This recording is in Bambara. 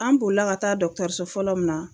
An boli la ka taa so fɔlɔ min na